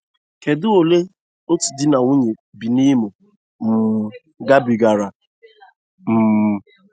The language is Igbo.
Kedụ ụle otu di na nwunye bi na Imo um gabigara? um